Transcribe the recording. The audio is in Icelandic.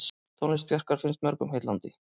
Tónlist Bjarkar finnst mörgum heillandi.